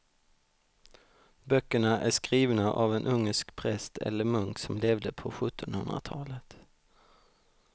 Böckerna är skrivna av en ungersk präst eller munk som levde på sjuttonhundratalet.